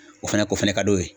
O fana k'o fɛnɛ ka d'o ye.